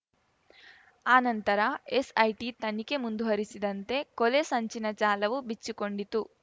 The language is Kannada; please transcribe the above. ಆನಂತರ ಎಸ್‌ಐಟಿ ತನಿಖೆ ಮುಂದುವರೆಸಿದಂತೆ ಕೊಲೆ ಸಂಚಿನ ಜಾಲವು ಬಿಚ್ಚಿಕೊಂಡಿತು